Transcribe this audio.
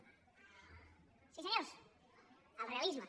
sí senyors el realisme